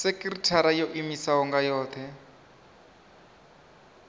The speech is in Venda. sekithara yo iimisaho nga yohe